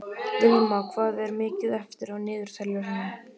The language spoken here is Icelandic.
Vilma, hvað er mikið eftir af niðurteljaranum?